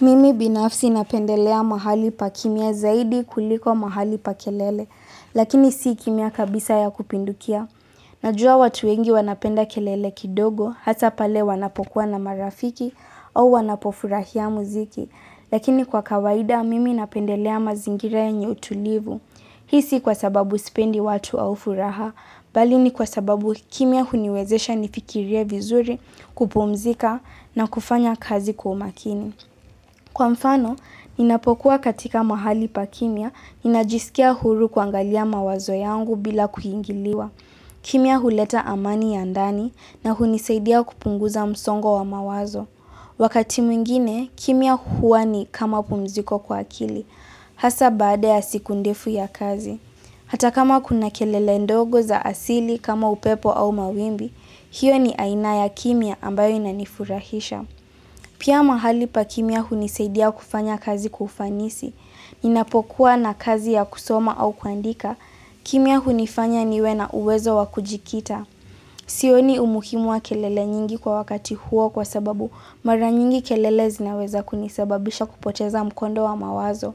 Mimi binafsi napendelea mahali pa kimya zaidi kuliko mahali pa kelele, lakini si kimya kabisa ya kupindukia. Najua watu wengi wanapenda kelele kidogo, hata pale wanapokuwa na marafiki au wanapofurahia muziki, lakini kwa kawaida mimi napendelea mazingira yenye utulivu. Hii si kwasababu sipendi watu au furaha, bali ni kwasababu kimya huniwezesha nifikirie vizuri kupumzika na kufanya kazi kwa umakini. Kwa mfano, ninapokuwa katika mahali pa kimya, ninajisikia huru kuangalia mawazo yangu bila kuingiliwa. Kimya huleta amani ya ndani na hunisaidia kupunguza msongo wa mawazo. Wakati mwingine, kimya huwa ni kama pumziko kwa akili. Hasa baada ya siku ndefu ya kazi. Hata kama kuna kelele ndogo za asili kama upepo au mawimbi, hiyo ni aina ya kimya ambayo inanifurahisha. Pia mahali pa kimya hunisaidia kufanya kazi kufanisi, inapokuwa na kazi ya kusoma au kuandika, kimya hunifanya niwe na uwezo wa kujikita. Sioni umuhimu wa kelele nyingi kwa wakati huo kwasababu mara nyingi kelele zinaweza kunisababisha kupoteza mkondo wa mawazo.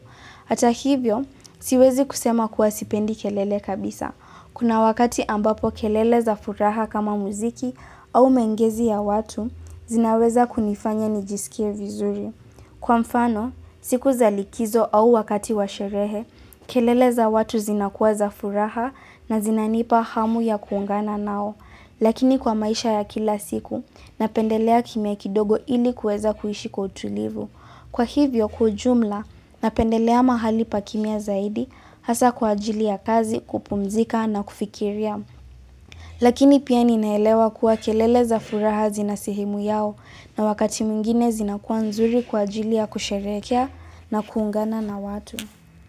Ata hivyo, siwezi kusema kuwa sipendi kelele kabisa. Kuna wakati ambapo kelele za furaha kama muziki au maongezi ya watu, zinaweza kunifanya nijisikie vizuri. Kwa mfano, siku za likizo au wakati wa sherehe, kelele za watu zinakuwa za furaha na zinanipa hamu ya kuungana nawo. Lakini kwa maisha ya kila siku, napendelea kimya kidogo ili kueza kuishi kwa utulivu. Kwa hivyo, kwa ujumla, napendelea mahali pa kimya zaidi, hasa kwa ajili ya kazi, kupumzika na kufikiria. Lakini pia ninaelewa kuwa kelele za furaha zina sehemu yao, na wakati mwengine zinakuwa nzuri kwa ajili ya kusherekea na kuungana na watu.